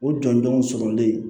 O jɔnjɔnw sɔrɔlen